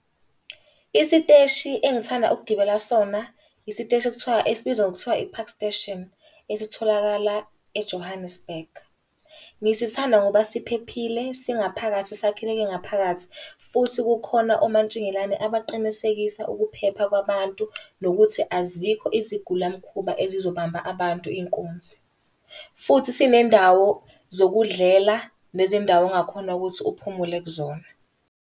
Isiteshi engithanda ukugibela kusona, isiteshi ekuthiwa esibizwa ngokuthiwa i-Park Station, esitholakala eJohannesburg. Ngisithanda ngoba siphephile, singaphakathi sakheleke ngaphakathi. Futhi kukhona omantshingelane abaqinisekisa ukuphepha kwabantu nokuthi azikho izigilamkhuba ezizobamba abantu inkunzi. Futhi sinendawo zokudlela nezindawo ongakhona ukuthi uphumule kuzona.